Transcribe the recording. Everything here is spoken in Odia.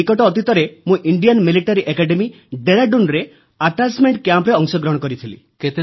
ନିକଟ ଅତୀତରେ ମୁଁ ଇଣ୍ଡିଆନ ମିଲିଟାରୀ ଏକାଡେମୀ ଡେରାଡୁନରେ ଆଟାଚମେଂଟ କ୍ୟାମ୍ପରେ ଅଂଶଗ୍ରହଣ କରିଥିଲି